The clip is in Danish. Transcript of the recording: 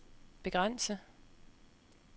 begrænse